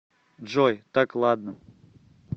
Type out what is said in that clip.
джой так ладно